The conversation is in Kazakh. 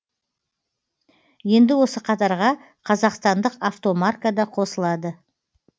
енді осы қатарға қазақстандық автомарка да қосылады